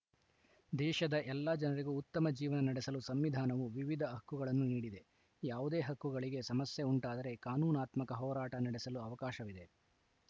ದೇಶದ ಎಲ್ಲ ಜನರಿಗೂ ಉತ್ತಮ ಜೀವನ ನಡೆಸಲು ಸಂವಿಧಾನವು ವಿವಿಧ ಹಕ್ಕುಗಳನ್ನು ನೀಡಿದೆ ಯಾವುದೇ ಹಕ್ಕುಗಳಿಗೆ ಸಮಸ್ಯೆ ಉಂಟಾದರೆ ಕಾನೂನಾತ್ಮಕ ಹೋರಾಟ ನಡೆಸಲು ಅವಕಾಶವಿದೆ